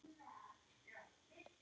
Ómar, hvíl þú í friði.